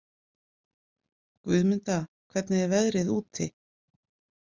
Guðmunda, hvernig er veðrið úti?